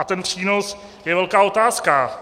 A ten přínos je velká otázka.